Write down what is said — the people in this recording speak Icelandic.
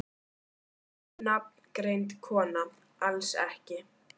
Ónafngreind kona: Alls ekki?